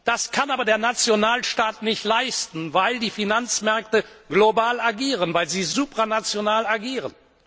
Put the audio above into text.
Das kann aber der Nationalstaat nicht leisten, weil die Finanzmärkte global agieren, weil sie supranational agieren.